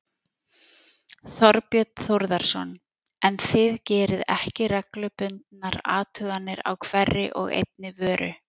Þorbjörn Þórðarson: En þið gerið ekki reglubundnar athuganir á hverri og einni vöru?